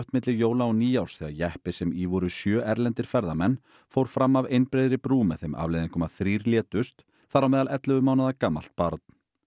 milli jóla og nýárs þegar jeppi sem í voru sjö erlendir ferðamenn fór fram af einbreiðri brú með þeim afleiðingum að þrír létust þar á meðal ellefu mánaða gamalt barn